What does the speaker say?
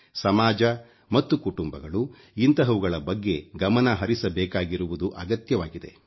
ಸಮಾಜ ಮತ್ತು ಕುಟುಂಬಗಳು ಇಂತಹವುಗಳ ಬಗ್ಗೆ ಗಮನ ಹರಿಸಬೇಕಾಗಿರುವುದು ಅಗತ್ಯವಾಗಿದೆ